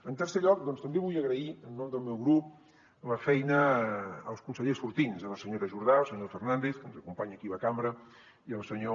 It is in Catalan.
en tercer lloc doncs també vull agrair en nom del meu grup la feina als consellers sortints a la senyora jordà al senyor fernàndez que ens acompanya aquí a la cambra i al senyor